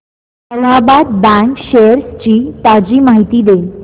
Allahabad bank shares ची ताजी माहिती दे